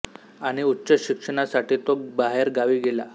आणि उच्च शिक्षणा साठी तो बाहेर गावी गेला